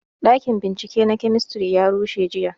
Ɗakin bincike na kemistri ya rushe jiya